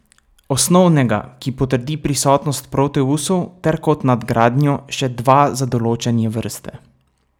Osnovnega, ki potrdi prisotnost proteusov, ter kot nadgradnjo še dva za določanje vrste.